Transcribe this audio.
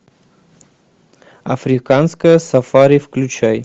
африканское сафари включай